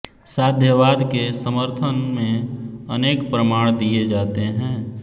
साध्यवाद के समर्थन में अनेक प्रमाण दिए जाते हैं